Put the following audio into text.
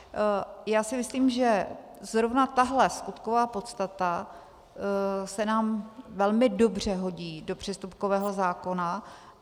Já si myslím, že zrovna tahle skutková podstata se nám velmi dobře hodí do přestupkového zákona.